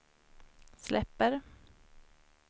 släpper